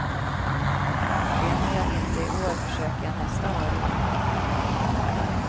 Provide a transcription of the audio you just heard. Vinner jag inte i år försöker jag nästa år igen.